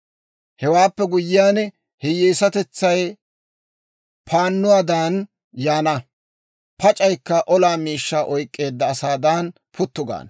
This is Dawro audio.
Hewaappe guyyiyaan, hiyyeesatetsay paannuwaadan yaana; pac'aykka olaa miishshaa oyk'k'eedda asaadan puttu gaana.